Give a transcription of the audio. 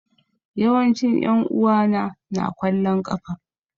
Yawancin yan'uwa na na kwallon kafa.